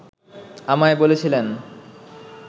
আমায় বলেছিলেন